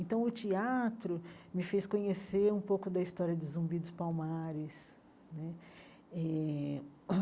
Então, o teatro me fez conhecer um pouco da história de Zumbi dos Palmares né eh.